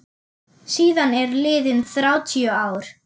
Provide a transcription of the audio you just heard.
Síðan eru liðin þrjátíu ár.